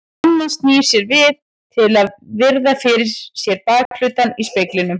Mamma snýr sér við til að virða fyrir sér bakhlutann í speglinum.